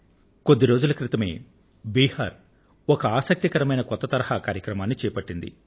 కొద్ది రోజుల క్రితమే బిహార్ ఒక ఆసక్తికరమైన కొత్త తరహా కార్యక్రమాన్ని చేపట్టింది